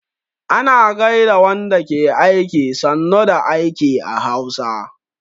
Ana gaida wanda ke aiki 'sannu da aiki' a Hausa